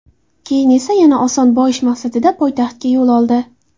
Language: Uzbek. Keyin esa yana oson boyish maqsadida poytaxtga yo‘l oldi.